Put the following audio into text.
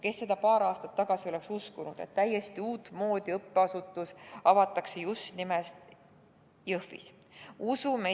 Kes seda paar aastat tagasi oleks uskunud, et täiesti uut moodi õppeasutus avatakse just nimelt Jõhvis!